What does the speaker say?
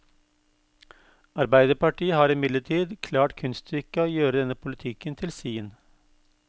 Arbeiderpartiet har imidlertid klart kunststykket å gjøre denne politikken til sin.